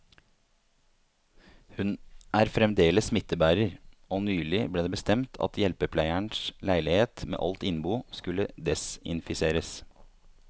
Hun er fremdeles smittebærer, og nylig ble det bestemt at hjelpepleierens leilighet med alt innbo skulle desinfiseres.